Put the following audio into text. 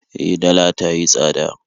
E, dala ta yi tsada